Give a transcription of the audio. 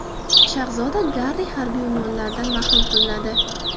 Shahzoda Garri harbiy unvonlaridan mahrum qilinadi.